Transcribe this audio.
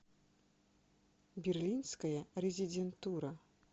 берлинская резидентура